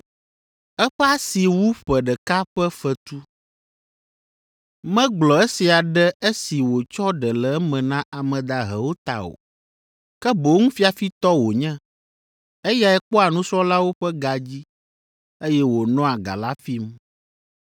Eƒe asi wu ƒe ɖeka ƒe fetu. Megblɔ esia ɖe esi wòtsɔ ɖe le eme na ame dahewo ta o, ke boŋ fiafitɔ wònye; eyae kpɔa nusrɔ̃lawo ƒe ga dzi, eye wònɔa ga la fim.